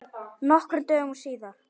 Nokkrum dögum síðar.